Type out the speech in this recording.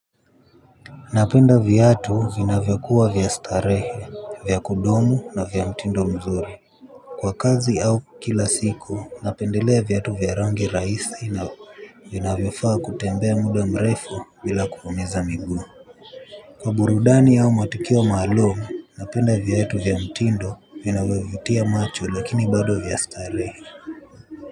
Napenda viatu vinavyokuwa vya starehe, vya kudumu na vya mtindo mzuri. Kwa kazi au kila siku napendelea vyatu vya rangi raisi na vina vyofaa kutembea muda mrefu bila kuumiza miguu. Kwa burudani au matukio maalum, napenda viatu vya mtindo vinavovutia macho lakini bado vya starehe.